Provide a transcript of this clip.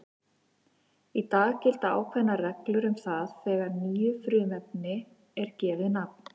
Í dag gilda ákveðnar reglur um það þegar nýju frumefni er gefið nafn.